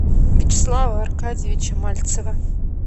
вячеслава аркадьевича мальцева